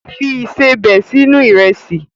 Fi ìsebẹ̀ sínú Ìrẹ́sì!